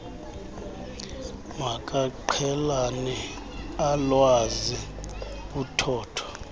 makaqhelane alwazi uthotho